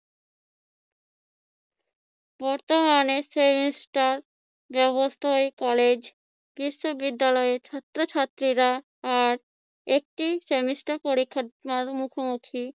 বর্তমানে semester ব্যবস্থায় college বিশ্ববিদ্যালয়ের ছাত্রছাত্রীরা আর একটি semester পরীক্ষার মুখোমুখি।